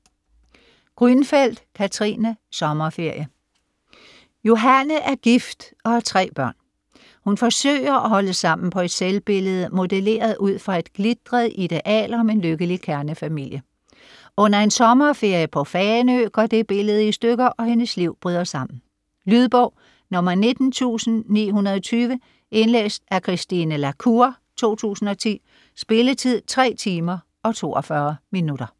Grünfeld, Katrine: Sommerferie Johanne er gift og har tre børn. Hun forsøger at holde sammen på et selvbillede, modelleret ud fra et glitret ideal om en lykkelig kernefamilie. Under en sommerferie på Fanø går det billede i stykker, og hendes liv bryder sammen. Lydbog 19920 Indlæst af Christine La Cour, 2010. Spilletid: 3 timer, 42 minutter.